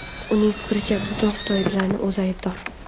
Uning fikricha, bunga xitoyliklarning o‘zi aybdor.